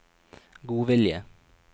godvilje